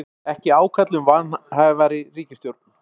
Ekki ákall um vanhæfari ríkisstjórn